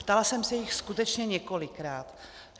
Ptala jsem se jich skutečně několikrát.